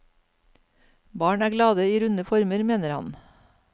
Barn er glade i runde former, mener han.